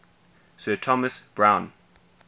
sir thomas browne